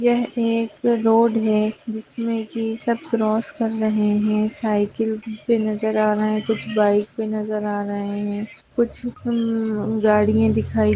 यह एक रोड है जिसमें की सब क्रॉस कर रहे हैं साइकिल भी नजर आ रहे हैं कुछ बाइक भी नजर आ रहे हैं कुछ उम्म गाड़िया दिखाई --